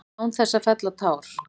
Án þess að fella tár.